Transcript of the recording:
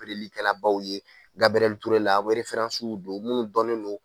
likɛlabaw ye Gabɛrɛli Ture la wɛrɛfaransiw do munnu dɔnnen do.